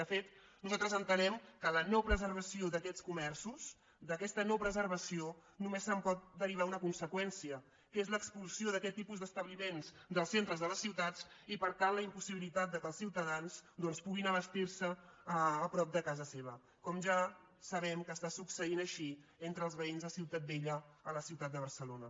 de fet nosaltres entenem que de la no preservació d’aquests comerços d’aquesta no preservació només se’n pot derivar una conseqüència que és l’expulsió d’aquest tipus d’establiments dels centres de les ciutats i per tant la impossibilitat que els ciutadans doncs puguin abastir se prop de casa seva com ja sabem que està succeint així entre els veïns de ciutat vella a la ciutat de barcelona